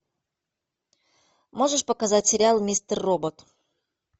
можешь показать сериал мистер робот